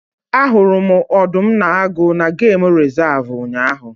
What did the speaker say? Ahụrụ m Ọdụm na Agụ n'geem resavu ụnyaahụ